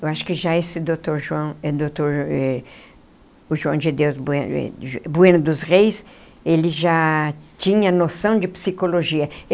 Eu acho que já esse doutor João doutor eh o João de Deus eh Bueno dos Reis, ele já tinha noção de psicologia.